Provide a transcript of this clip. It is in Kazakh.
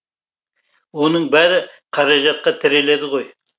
оның бәрі қаражатқа тіреледі ғой